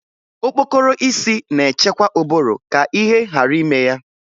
Okpokoro isi na-echekwa ụbụrụ ka ihe ghara ime ya